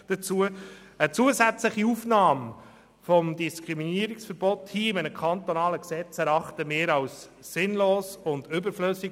Eine zusätzliche Aufnahme des Diskriminierungsverbots in ein kantonales Gesetz erachten wir als sinnlos und überflüssig.